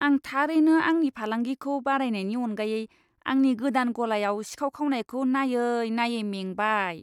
आं थारैनो आंनि फालांगिखौ बारायनायनि अनगायै आंनि गोदान गलायाव सिखाव खावनायखौ नाययै नाययै मेंबाय।